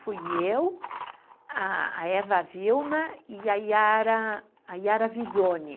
Fui eu, a a Eva Vilma e a Yara, a Yara Visoni.